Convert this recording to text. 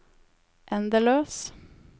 endeløs